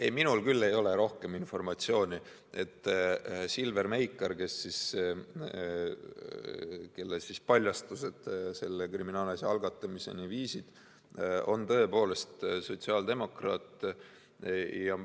Ei, minul küll ei ole rohkem informatsiooni, kui et Silver Meikar, kelle paljastused selle kriminaalasja algatamiseni viisid, on tõepoolest sotsiaaldemokraat.